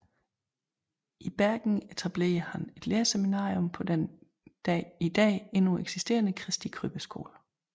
I Bergen etablerede han et lærerseminarium på den i dag endnu eksisterende Christi Krybbe skole